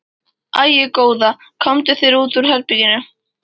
Æi, góða, komdu þér út úr herberginu!